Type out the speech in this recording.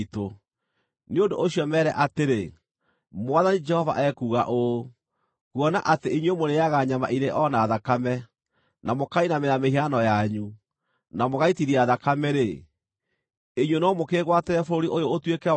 Nĩ ũndũ ũcio meere atĩrĩ, ‘Mwathani Jehova ekuuga ũũ: Kuona atĩ inyuĩ mũrĩĩaga nyama irĩ o na thakame, na mũkainamĩrĩra mĩhianano yanyu, na mũgaitithia thakame-rĩ, inyuĩ no mũkĩĩgwatĩre bũrũri ũyũ ũtuĩke wanyu?